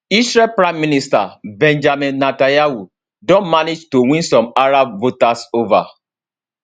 israeli prime minister benjamin netanyahu don manage to win some arab voters ova